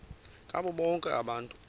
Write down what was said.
ngabo bonke abantu